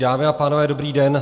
Dámy a pánové, dobrý den.